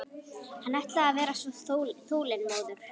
Hann ætlaði að vera svo þolinmóður.